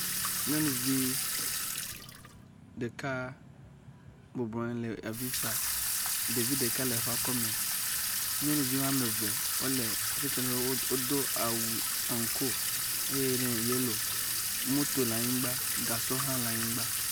nyɔnuvi ɖeka bublɔnyi hele avifa ɖevi ɖeka le eƒa kɔme nyɔnuvi woameve title ɖe wodó eye wodó awu aŋko moto la nyigbã gasɔ la nyigbã